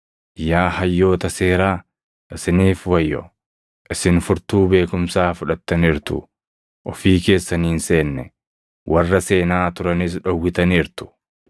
“Yaa hayyoota seeraa, isiniif wayyoo! Isin furtuu beekumsaa fudhattaniirtu. Ofii keessanii hin seenne; warra seenaa turanis dhowwitaniirtu.”